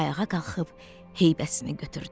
Ayağa qalxıb heybəsini götürdü.